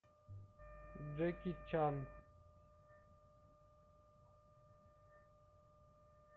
джеки чан